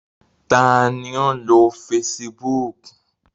Ta ni ó ń lo Facebook?